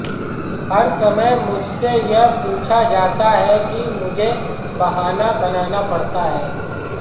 हर समय मुझसे यह पूछा जाता है और मुझे बहाना बनाना पड़ता है